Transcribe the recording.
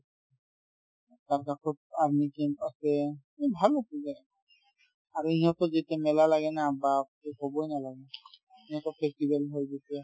তাৰপিছত আকৌ army camp আছে আৰু ইহঁতৰ যেতিয়া মেলা লাগে না বাপৰে ! ক'বই নালাগে সিহঁতৰ festival হয় যেতিয়া